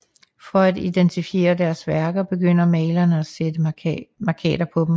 For at identificere deres værker begyndte malerne at sætte mærkater på dem